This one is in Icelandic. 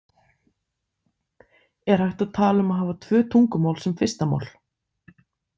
Er hægt að tala um að hafa tvö tungumál sem fyrsta mál?